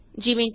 easy